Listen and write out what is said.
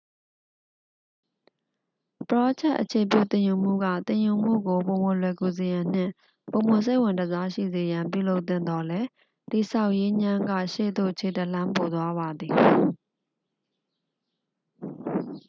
ပရောဂျက် အခြေပြုသင်ယူမှုက သင်ယူမှုကို ပိုမိုလွယ်ကူစေရန်နှင့် ပိုမိုစိတ်ဝင်တစားရှိစေရန် ပြုလုပ်သင့်သော်လည်း တည်ဆောက်ရေးငြမ်းက ရှေ့သို့ခြေတစ်လှမ်းပိုသွားပါသည်